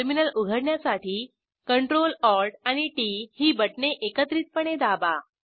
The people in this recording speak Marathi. टर्मिनल उघडण्यासाठी CTRL ALT आणि टीटी ही बटणे एकत्रितपणे दाबा